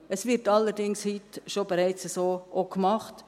Es wird allerdings heute auch schon so gemacht;